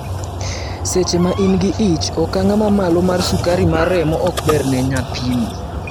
Seche ma in gi ich, okang ma malo mar sukari mar remo ok ber ne nyathini.